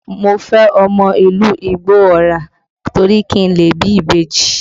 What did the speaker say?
Mo fẹ́ ọmọ ìlú Igbó Ọrà torí kí n lè bí ìbejì